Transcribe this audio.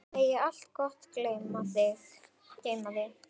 Megi allt gott geyma þig.